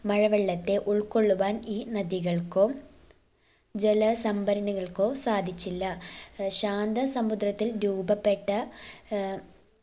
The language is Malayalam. മഴവെള്ളത്തെ ഉൾക്കൊള്ളുവാൻ ഈ നദികൾക്കും ജല സംഭരണികൾക്കോ സാധിച്ചില്ല ഏർ ശാന്ത സമുദ്രത്തിൽ രൂപപ്പെട്ട ഏർ